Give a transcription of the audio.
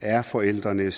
er forældrene